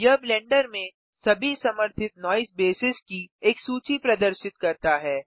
यह ब्लेंडर में सभी समर्थित नॉइज़ बेसेस की एक सूची प्रदर्शित करता है